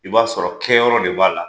I b'a sɔrɔ kɛ yɔrɔ de b'a la .